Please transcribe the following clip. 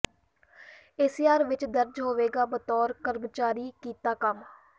ਏ C R ਵਿਚ ਦਰਜ ਹੋਵੇਗਾ ਬਤੌਰ ਕਰਮਚਾਰੀ ਕੀਤਾ ਕੰਮ